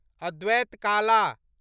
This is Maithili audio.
अद्वैत काला